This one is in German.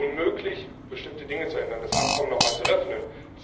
Es war unmöglich, bestimmte Dinge zu ändern, das Abkommen nochmals zu öffnen.